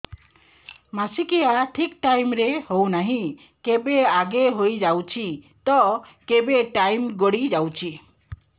ମାସିକିଆ ଠିକ ଟାଇମ ରେ ହେଉନାହଁ କେବେ ଆଗେ ହେଇଯାଉଛି ତ କେବେ ଟାଇମ ଗଡି ଯାଉଛି